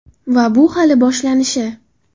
Va bu hali boshlanishi.